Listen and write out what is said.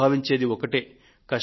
అందరూ భావించేది ఒక్కటే